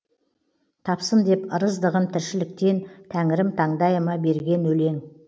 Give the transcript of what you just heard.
тапсын деп ырыздығын тіршіліктен тәңірім таңдайыма берген өлең